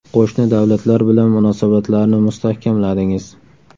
Qo‘shni davlatlar bilan munosabatlarni mustahkamladingiz.